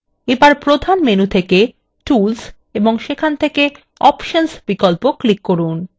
এবার প্রধান menu থেকে tools ও সেখান থেকে options বিকল্প click করুন